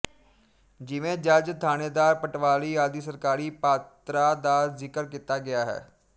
ਜਿਵੇਂ ਜੱਜ ਥਾਣੇਦਾਰ ਪਟਵਾਰੀ ਆਦਿ ਸਰਕਾਰੀ ਪਾਤਰਾ ਦਾ ਜ਼ਿਕਰ ਕੀਤਾ ਗਿਆ ਹੈ